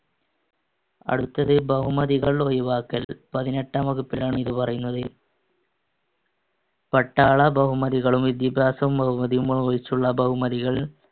അടുത്തത് ബഹുമതികൾ ഒഴിവാക്കൽ. പതിനെട്ടാം വകുപ്പിലാണ് ഇത് പറയുന്നത്. പട്ടാള ബഹുമതികളും വിദ്യാഭ്യാസ ബഹുമതിയും ഒഴിച്ചുള്ള ബഹുമതികൾ